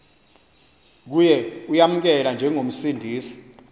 kuye uyamamkela njengomsindisi